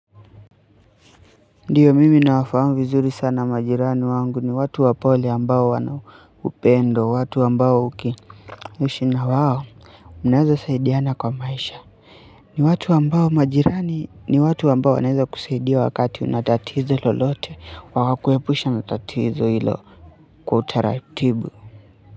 Ndiyo mimi nawafamu vizuri sana majirani wangu ni watu wapole ambao wana upendo watu ambao ukiishi ina wao mnaweza saidiana kwa maisha ni watu ambao majirani ni watu ambao wanaweza kusaidia wakati una tatizo lolote wakakuepusha na tatizo hilo kwa utaratibu.